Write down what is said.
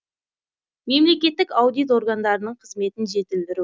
мемлекеттік аудит органдарының қызметін жетілдіру